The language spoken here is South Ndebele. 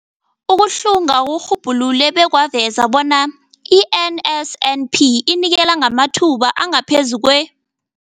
Ukuhlunga kurhubhulule bekwaveza bona i-NSNP inikela ngamathuba angaphezulu kwe-